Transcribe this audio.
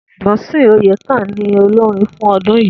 Dunsin oyekan ni olórin fún ọdún yìí